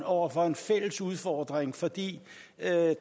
over for en fælles udfordring fordi